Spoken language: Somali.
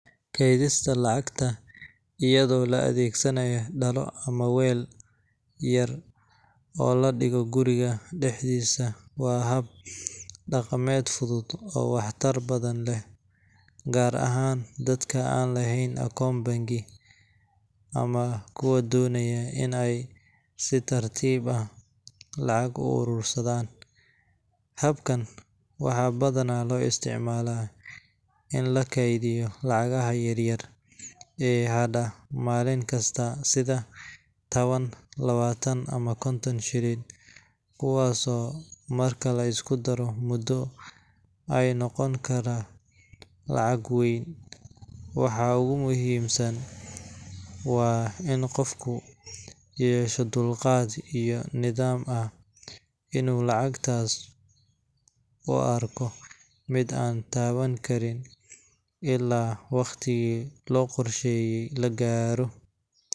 Kaydsiga lacagta iyadoo la adeegsanayo dhalo ama weel yar oo la dhigo guriga dhexdiisa waa hab dhaqameed fudud oo waxtar badan leh, gaar ahaan dadka aan lahayn akoon bangi ama kuwa doonaya in ay si tartiib ah lacag u urursadaan. Habkan waxaa badanaa loo isticmaalaa in la kaydiyo lacagaha yar-yar ee hadha maalin kasta, sida tawan, lawatan ama konton shilin, kuwaasoo marka la isku daro muddo ay noqon kara lacag weyn. Waxa ugu muhiimsan waa in qofku yeesho dulqaad iyo niyad ah inuu lacagtaas u arko mid aan taaban karin ilaa waqtigii loo qorsheeyay la gaaro.